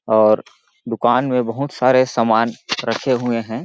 और दुकान में बहुत सारे सामान रखे हुए है।